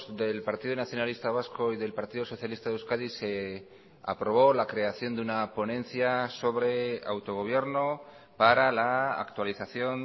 del partido nacionalista vasco y del partido socialista de euskadi se aprobó la creación de una ponencia sobre autogobierno para la actualización